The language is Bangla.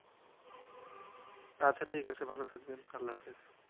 আচ্ছা ঠিকাছে ভালো থাকবেন আল্লাহাফেজ